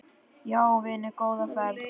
Já vinur, góða ferð!